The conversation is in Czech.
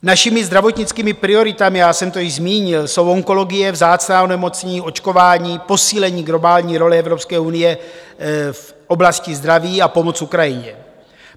Našimi zdravotnickými prioritami, já jsem to již zmínil, jsou onkologie, vzácná onemocnění, očkování, posílení globální role Evropské unie v oblasti zdraví a pomoc Ukrajině.